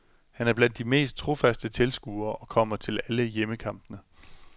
Han er blandt de mest trofast tilskuere og kommer til alle hjemmekampene.